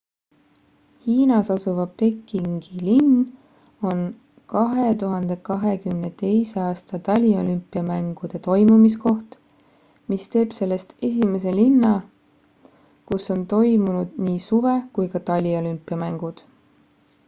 hiinas asuv pekingi linn on 2022 aasta taliolümpiamängude toimumiskoht mis teeb sellest esimese linna kus on toimunud nii suve kui ka taliolümpiamängud